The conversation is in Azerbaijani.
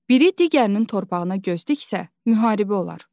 Biri digərinin torpağına göz diksə, müharibə olar.